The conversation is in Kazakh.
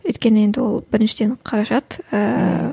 өйткені енді ол біріншіден қаражат ііі